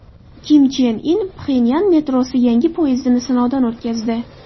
Kim Chen In Pxenyan metrosi yangi poyezdini sinovdan o‘tkazdi .